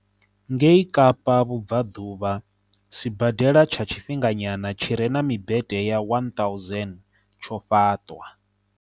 Ngei Kapa Vhubvaḓuvha, sibadela tsha tshifhinganyana tshi re na mimbete ya 1 000 tsho fhaṱwa